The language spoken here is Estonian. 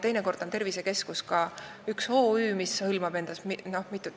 Teinekord on tervisekeskus ka üks OÜ, mis hõlmab endas mitut.